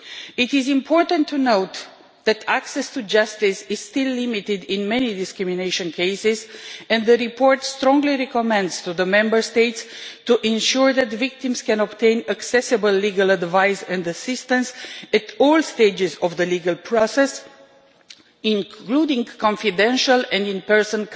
It is important to note that access to justice is still limited in many discrimination cases, and the report strongly recommends that the Member States ensure that victims can obtain accessible legal advice and assistance at all stages of the legal process, including confidential counselling in person